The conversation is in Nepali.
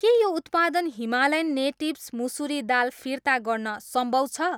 के यो उत्पादन हिमालयन नेटिभ्स मुसुरी दाल फिर्ता गर्न सम्भव छ?